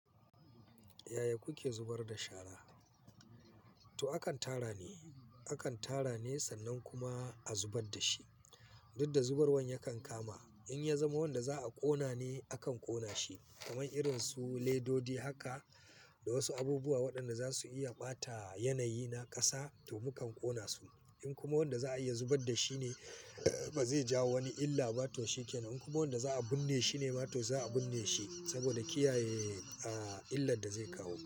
Yaya kuke zubar da shara? To akan tara ne, akan tara ne sannan kuma a zubar da shi. Duk da zubarwan yakan kama. In ya zama wanda za a ƙona ne, akan ƙona shi. Kamar irin su ledodi haka da wasu abubuwa waɗanda za su iya ɓata yanayi na ƙasa to mukan ƙona su. In kuma wanda za a iya zubar da shi ne ba zai jawo wani illa ba to shikenan. In kuma wanda za a binne shi ne ma to za a binne shi saboda kiyaye, ah, illar da zai kawo.